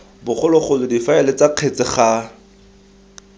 bogologolo difaele ts kgetse ga